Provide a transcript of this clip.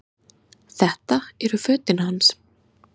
Þetta eru fötin hans!